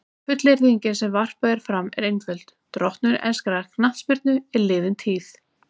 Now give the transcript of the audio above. Fullyrðingin sem varpað er fram er einföld: Drottnun enskrar knattspyrnu er liðin tíð.